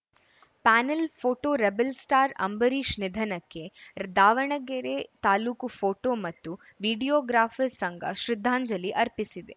panel photo rebel star Ambareesh ನಿಧನಕ್ಕೆ Davanagere taluk photo ಮತ್ತು videographers ಸಂಘ ಶ್ರದ್ದಾಂಜಲಿ ಅರ್ಪಿಸಿದೆ